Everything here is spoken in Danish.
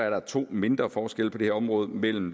der to mindre forskelle på det her område mellem